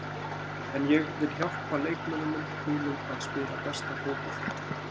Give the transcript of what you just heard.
En ég vil hjálpa leikmönnunum mínum að spila besta fótboltann.